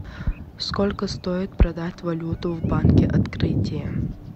сколько стоит продать валюту в банке открытие